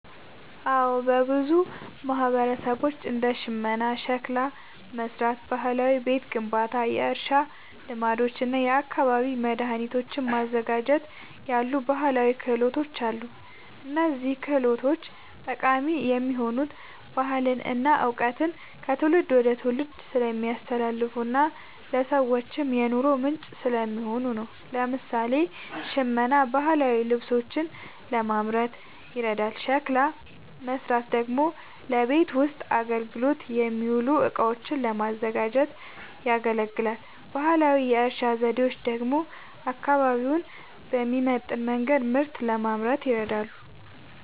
አዎ፣ በብዙ ማህበረሰቦች እንደ ሽመና፣ ሸክላ መሥራት፣ ባህላዊ ቤት ግንባታ፣ የእርሻ ልማዶች እና የአካባቢ መድኃኒቶችን ማዘጋጀት ያሉ ባህላዊ ክህሎቶች አሉ። እነዚህ ችሎታዎች ጠቃሚ የሆኑት ባህልን እና እውቀትን ከትውልድ ወደ ትውልድ ስለሚያስተላልፉና ለሰዎችም የኑሮ ምንጭ ስለሚሆኑ ነው። ለምሳሌ፣ ሽመና ባህላዊ ልብሶችን ለማምረት ይረዳል፤ ሸክላ መሥራት ደግሞ ለቤት ውስጥ አገልግሎት የሚውሉ እቃዎችን ለማዘጋጀት ያገለግላል። ባህላዊ የእርሻ ዘዴዎች ደግሞ አካባቢውን በሚመጥን መንገድ ምርት ለማምረት ይረዳሉ።